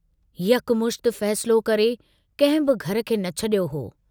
यकमुश्त फ़ैसिलो करे कंहिं बि घर खे न छड़ियो हो।